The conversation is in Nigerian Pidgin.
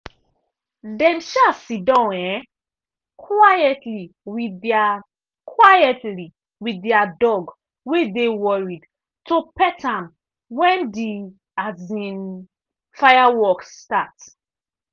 they um siddon um quietly with their quietly with their dog wey dey worried to pet am when the um fireworks start.